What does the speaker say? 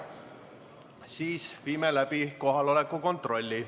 Siis viime läbi kohaloleku kontrolli.